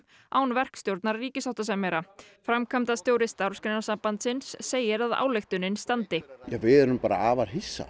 án verkstjórnar ríkissáttasemjara framkvæmdastjóri Starfsgreinasambandsins segir ályktunin standi við erum afar hissa